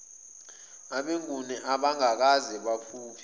abenguni abangakaze baphuphe